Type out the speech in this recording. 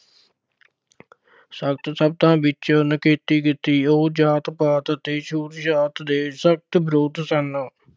ਸਖਤ ਸ਼ਬਦਾਂ ਵਿੱਚ ਨਿਖੇਧੀ ਕੀਤੀ। ਉਹ ਜਾਤ-ਪਾਤ ਅਤੇ ਛੂਤ-ਛਾਤ ਦੇ ਸਖਤ ਵਿਰੋਧ ਸਨ।